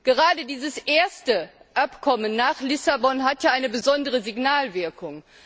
Gerade dieses erste Abkommen nach Lissabon hat ja eine besondere Signalwirkung.